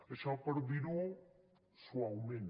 això per dir ho suaument